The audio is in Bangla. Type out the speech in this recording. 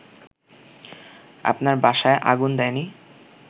আপনার বাসায় আগুন দেয়নি